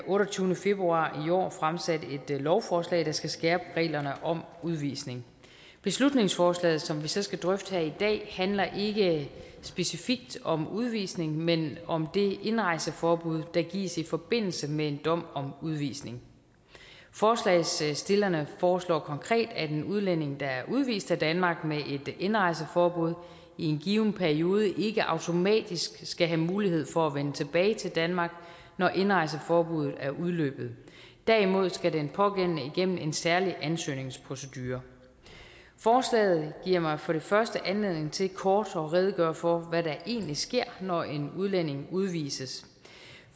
otteogtyvende februar i år fremsatte et lovforslag der skal skærpe reglerne om udvisning beslutningsforslaget som vi så skal drøfte her i dag handler ikke specifikt om udvisning men om det indrejseforbud der gives i forbindelse med en dom om udvisning forslagsstillerne foreslår konkret at en udlænding der er udvist af danmark med et indrejseforbud i en given periode ikke automatisk skal have mulighed for at vende tilbage til danmark når indrejseforbuddet er udløbet derimod skal den pågældende igennem en særlig ansøgningsprocedure forslaget giver mig for det første anledning til kort at redegøre for hvad der egentlig sker når en udlænding udvises